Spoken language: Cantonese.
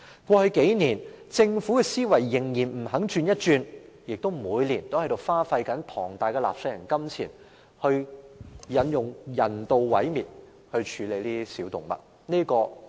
過去數年，政府仍然不肯轉換思維，每年花費大量納稅人金錢，用人道毀滅的方式來處理小動物。